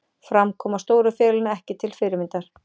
Framkoma stóru félaganna ekki til fyrirmyndar